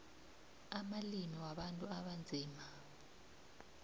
amalimi wabantu abanzima